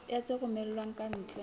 ya tse romellwang ka ntle